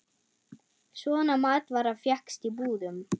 Svona matvara fékkst í búðum.